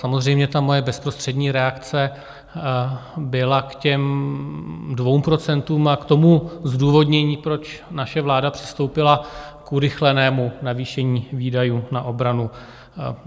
Samozřejmě ta moje bezprostřední reakce byla k těm dvěma procentům a k tomu zdůvodnění, proč naše vláda přistoupila k urychlenému navýšení výdajů na obranu.